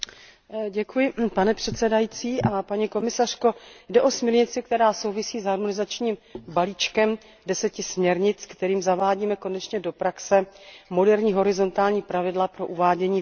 Pane předsedající, paní komisařko, jde o směrnici, která souvisí s harmonizačním balíčkem deseti směrnic, kterým zavádíme konečně do praxe moderní horizontální pravidla pro uvádění výrobků na trh.